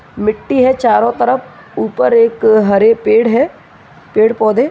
मिट्टी है चारो तरफ ऊपर एक हरे पेड़ है पेड़ पौधे।